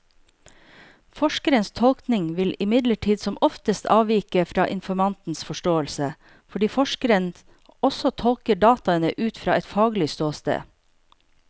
Forskerens tolkning vil imidlertid som oftest avvike fra informantens forståelse, fordi forskeren også tolker dataene ut fra et faglig ståsted.